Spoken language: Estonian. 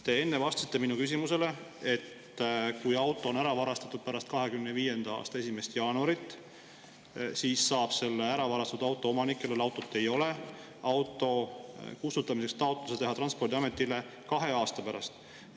Te enne vastasite minu küsimusele, et kui auto on ära varastatud pärast 2025. aasta 1. jaanuari, siis saab selle ära varastatud auto omanik, kellel enam autot ei ole, auto kustutamiseks taotluse teha Transpordiametile kahe aasta pärast.